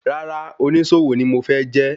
Rárá, onísòwò ni mo fẹ́ jẹ́.